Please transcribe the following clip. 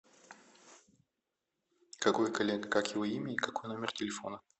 какой коллега как его имя и какой номер телефона